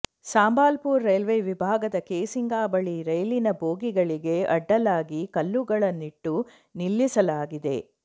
Sambalpur railway ವಿಭಾಗದ ಕೇಸಿಂಗಾ ಬಳಿ ರೈಲಿನ ಬೋಗಿಗಳಿಗೆ ಅಡ್ಡಲಾಗಿ ಕಲ್ಲುಗಳನ್ನಿಟ್ಟು ನಿಲ್ಲಿಸಲಾಗಿದೆ